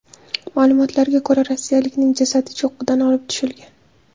Ma’lumotlarga ko‘ra, rossiyalikning jasadi cho‘qqidan olib tushilgan.